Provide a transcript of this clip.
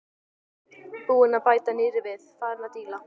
Búinn að bæta nýrri við, farinn að díla.